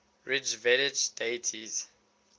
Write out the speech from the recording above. rigvedic deities